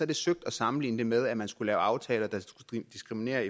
det søgt at sammenligne det med at man skulle lave aftaler der skulle diskriminere